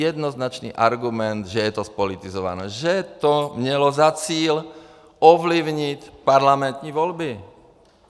Jednoznačný argument, že je to zpolitizované, že to mělo za cíl ovlivnit parlamentní volby.